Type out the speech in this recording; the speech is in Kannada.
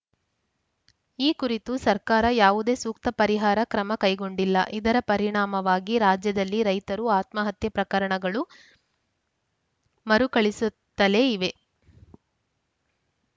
ಈ ಕುರಿತು ಸರ್ಕಾರ ಯಾವುದೇ ಸೂಕ್ತ ಪರಿಹಾರ ಕ್ರಮ ಕೈಗೊಂಡಿಲ್ಲ ಇದರ ಪರಿಣಾಮವಾಗಿ ರಾಜ್ಯದಲ್ಲಿ ರೈತರು ಆತ್ಮಹತ್ಯೆ ಪ್ರಕರಣಗಳು ಮರುಕಳಿಸುತ್ತಲೇ ಇವೆ